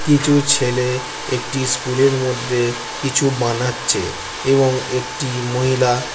কিছু ছেলে একটি স্কুল এর মধ্যে কিছু বানাচ্ছে এবং একটি মহিলা--